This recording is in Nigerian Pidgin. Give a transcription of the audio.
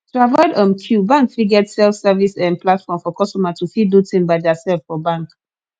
to avoid um queue bank fit get self service um platform for customer to fit do thing by theirself for bank